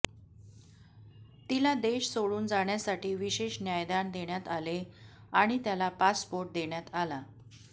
तिला देश सोडून जाण्यासाठी विशेष न्यायदान देण्यात आले आणि त्याला पासपोर्ट देण्यात आला